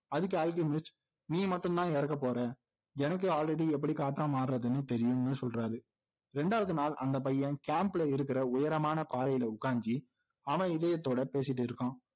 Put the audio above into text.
அதுக்கு அல்கெமிஸ்ட் நீ மட்டும்தான் இறக்க போற எனக்கு already எப்படி காத்தா மார்றதுன்னு தெரியும்னு சொல்றாரு ரெண்டாவது நாள் அந்த பையன் camp ல இருக்கிற உயரமான பாறையில உக்காந்து அவன் இதயத்தோட பேசிகிட்டு இருக்கான்